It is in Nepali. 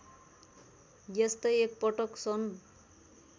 यस्तै एकपटक सन्